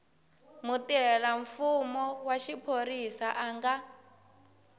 mutirhelamfumo wa xiphorisa a nga